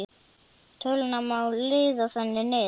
Töluna má liða þannig niður